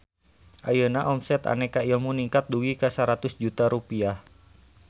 Ayeuna omset Aneka Ilmu ningkat dugi ka 100 juta rupiah